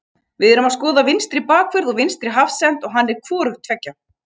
Við erum að skoða vinstri bakvörð og vinstri hafsent og hann er hvorugt tveggja.